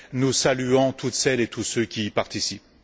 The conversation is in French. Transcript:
Nous saluons toutes celles et tous ceux qui y participent.